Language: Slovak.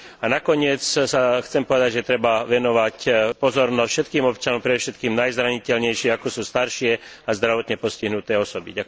A nakoniec chcem povedať, že treba venovať pozornosť všetkým občanom predovšetkým však najzraniteľnejším, ako sú staršie a zdravotne postihnuté osoby.